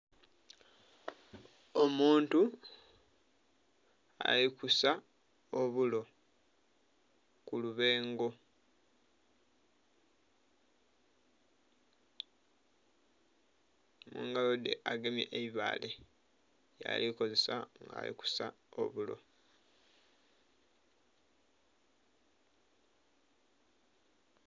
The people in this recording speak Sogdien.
Omuntu ali kusa obulo ku lubengo. Nga agemye eibaale lyali kozesa nga ali kusa obulo.